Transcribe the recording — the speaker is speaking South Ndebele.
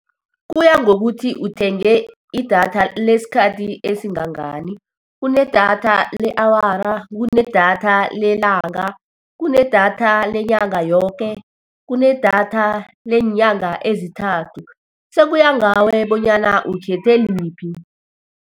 Kuya ngokuthi uthenge idatha lesikhathi esingangani, kunedatha le-awara, kunedatha lelanga, kunedatha lenyanga yoke, kunedatha leenyanga ezithathu, sekuya ngawe bonyana ukhethe liphi.